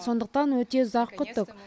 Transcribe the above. сондықтан өте ұзақ күттік